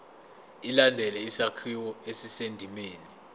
ilandele isakhiwo esisendimeni